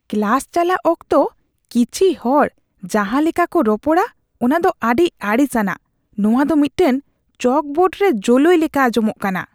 Class ᱪᱟᱞᱟᱜ ᱚᱠᱛᱚ ᱠᱤᱪᱷᱤ ᱦᱚᱲ ᱡᱟᱦᱟᱸ ᱞᱮᱠᱟ ᱠᱚ ᱨᱚᱯᱚᱲᱟ ᱚᱱᱟ ᱫᱚ ᱟᱹᱰᱤ ᱟᱹᱲᱤᱥ ᱟᱱᱟᱜ ; ᱱᱚᱶᱟ ᱫᱚ ᱢᱤᱫᱴᱟᱝ ᱪᱚᱠᱵᱳᱨᱰ ᱨᱮ ᱡᱳᱞᱳᱭ ᱞᱮᱠᱟ ᱟᱸᱡᱚᱢᱚᱜ ᱠᱟᱱᱟ ᱾